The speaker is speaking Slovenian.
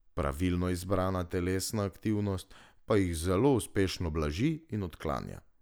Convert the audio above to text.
Pravilno izbrana telesna aktivnost pa jih zelo uspešno blaži in odklanja.